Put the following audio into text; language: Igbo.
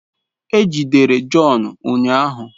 E jidere John ụnyahụ